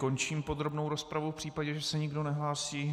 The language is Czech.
Končím podrobnou rozpravu v případě, že se nikdo nehlásí.